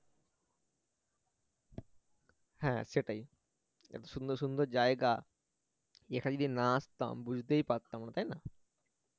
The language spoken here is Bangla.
হ্যাঁ সেটাই এত সুন্দর সুন্দর জায়গা এখানে যদি না আসতাম বুঝতেই পারতাম না তাই না?